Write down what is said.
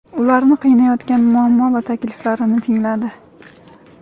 ularni qiynayotgan muammo va takliflarini tingladi.